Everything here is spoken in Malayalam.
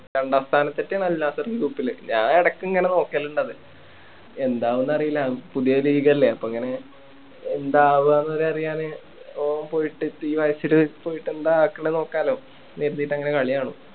രണ്ടാം സ്ഥാനത്ത് എത്തിയാണ് അൽനാസ്സർ group ല് ഞാൻ എടയ്ക്ക് ഇങ്ങനെ നോക്കലുണ്ട് അത് എന്താവുംന്ന് അറിയില്ല പുതിയ league അല്ലെ അപ്പൊ എങ്ങനെ ഉണ്ടാവുകന്ന് വരെ അറിയാന് ഓൻ പോയിട്ട് ഇപ്പോ batch ല്പോയിട്ട് എന്താ ആക്കണേ നോക്കാലോ എന്ന് കരുതീട്ട് അങ്ങനെ കളി കാണും